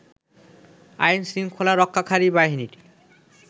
আইন শৃংখলা রক্ষাকারী বাহিনীর